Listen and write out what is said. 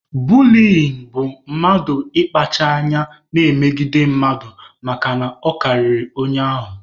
Buliyin bụ mmadụ ịkpacha anya na-emegide mmadụ makana ọ karịrị onye ahụ.